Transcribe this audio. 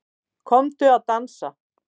Komdu að dansa